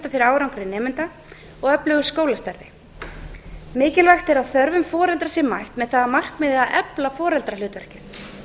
árangri nemenda og öflugu skólastarfi mikilvægt er að þörfum foreldra sé mætt með það að markmiði að efla foreldrahlutverkið